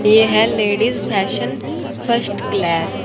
ये है ladies fashion first class.